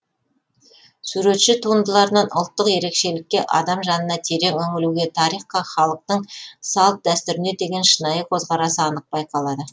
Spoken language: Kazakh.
суретші туындыларынан ұлттық ерекшелікке адам жанына терең үңілуге тарихқа халықтың салт дәстүріне деген шынайы көзқарасы анық байқалады